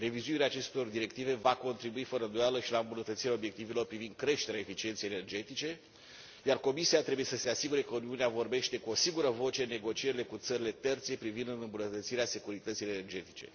Revizuirea acestor directive va contribui fără îndoială și la îmbunătățirea obiectivelor privind creșterea eficienței energetice, iar Comisia trebuie să se asigure că Uniunea vorbește cu o singură voce în negocierile cu țările terțe privind îmbunătățirea securității energetice.